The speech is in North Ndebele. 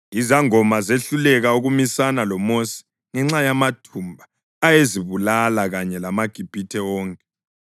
Izangoma zehluleka ukumisana loMosi ngenxa yamathumba ayezibulala kanye lamaGibhithe wonke.